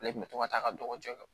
Ale kun bɛ to ka taa ka dɔgɔ